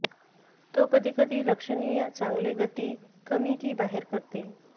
तो कधी कधी लक्षणीय चांगले गती कमी की बाहेर करते